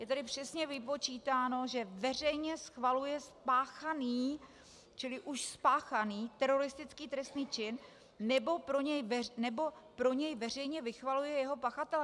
Je tady přesně vypočítáno, že veřejně schvaluje spáchaný - čili už spáchaný - teroristický trestný čin nebo pro něj veřejně vychvaluje jeho pachatele.